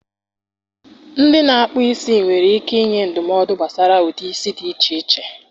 Ndị na-akpụ isi nwere ike ịnye ndụmọdụ gbasara ụdị isi dị iche iche.